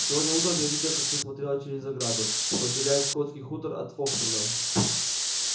сегодня утром я видела как ты смотрела через ограду что отделяет скотский хутор от фоксвуда